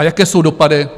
A jaké jsou dopady?